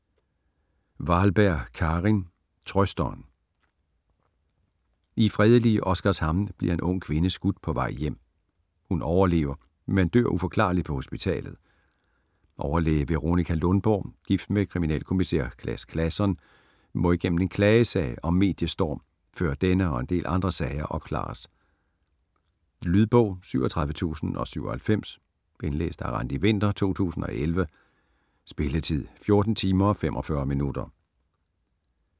Wahlberg, Karin: Trøsteren I fredelige Oskarshamn bliver en ung kvinde skudt på vej hjem. Hun overlever men dør uforklarligt på hospitalet. Overlæge Veronika Lundborg, gift med kriminalkommissær Claus Claesson, må igennem en klagesag og mediestorm, før denne og en del andre sager opklares. Lydbog 37097 Indlæst af Randi Winther, 2011. Spilletid: 14 timer, 45 minutter.